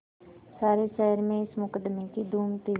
सारे शहर में इस मुकदमें की धूम थी